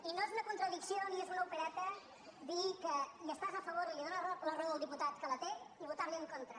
i no és una contradicció ni és una opereta dir que hi estàs a favor i li dónes la raó al diputat que la té i votar li en contra